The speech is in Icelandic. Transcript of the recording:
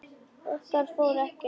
Okkar fór ekkert í milli.